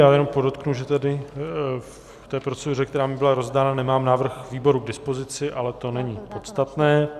Já jenom podotknu, že tady v té proceduře, která mi byla rozdána, nemám návrh výboru k dispozici, ale to není podstatné.